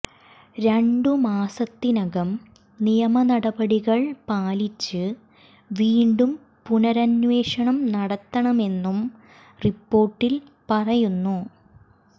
രണ്ടു മാസത്തിനകം നിയമനടപടികൾ പാലിച്ച് വീണ്ടും പുനരന്വേഷണം നടത്തണമെന്നും റിപ്പോർട്ടിൽ പറയുന്നു